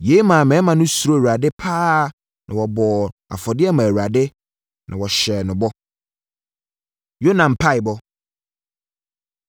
Yei maa mmarima no suroo Awurade pa ara na wɔbɔɔ afɔdeɛ maa Awurade, na wɔhyɛɛ no bɔ. Yona Mpaeɛbɔ